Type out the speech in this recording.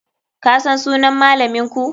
Kasan sunan malaminku?